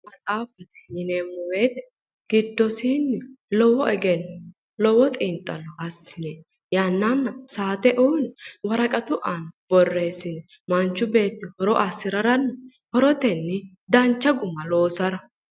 Maxaafa yineemmo wooyiite giddoosiinni lowo egenno lowo xiinxallo assine yannanna saate uuyiine woraqatu aana borreessine manchu beeti horo assirara dancha guma loosara.